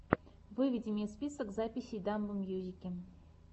выведи мне список записей дамбо мьюзики